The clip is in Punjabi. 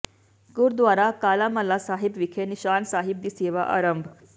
ਗੁਰਦੁਆਰਾ ਕਾਲਾਮਲ੍ਹਾ ਸਾਹਿਬ ਵਿਖੇ ਨਿਸ਼ਾਨ ਸਾਹਿਬ ਦੀ ਸੇਵਾ ਆਰੰਭ